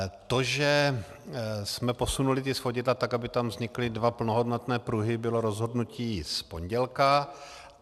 To, že jsme posunuli ta svodidla tak, aby tam vznikly dva plnohodnotné pruhy, bylo rozhodnutí z pondělí.